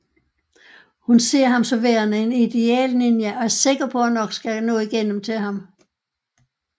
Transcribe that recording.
Hun ser ham som værende en idealninja og er sikker på at hun nok skal nå igennem til ham